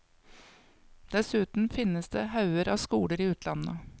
Dessuten finnes det hauger av skoler i utlandet.